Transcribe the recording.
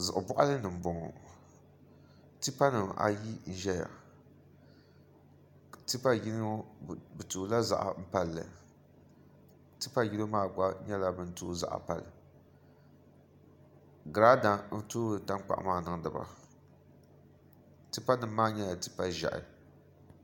Zuɣu boɣali ni n boŋo tipa nim ayi n ʒɛya tipa yino bi toola ziɣa palli tipa yino maa gba nyɛla bini tooi ziɣa pali girada n toori tankpaɣu maa niŋdi ba tipa nim maa nyɛla tipa ʒiɛhi